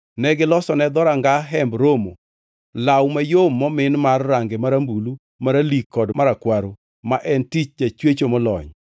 Negilosone dhoranga Hemb Romo law mayom momin mar range marambulu, maralik kod marakwaro, ma en tich jachwecho molony;